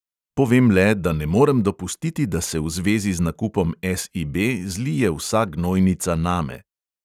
Povem le, da ne morem dopustiti, da se v zvezi z nakupom SIB zlije vsa gnojnica name.